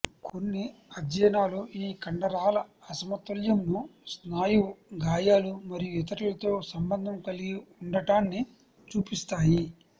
కొన్ని అధ్యయనాలు ఈ కండరాల అసమతుల్యంను స్నాయువు గాయాలు మరియు ఇతరులతో సంబంధం కలిగి ఉండటాన్ని చూపిస్తాయి